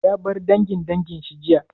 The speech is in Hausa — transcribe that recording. Ya bar dangin dangin shi jiya?